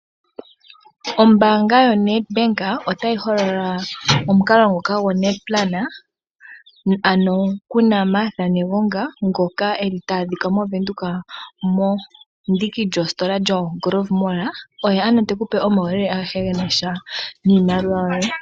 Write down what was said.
Ombaanga yoNedbank otayi holola omukalo ngoka goNedplan, ano kuna Martha Negonga, ngoka eli ta adhika moVenduka mendiki lyoositola lyoGrove mall, oye ano tekupe omauyelela agehe genasha niimaliwa yoye.